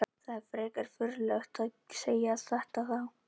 Það er frekar furðulegt að segja þetta þá?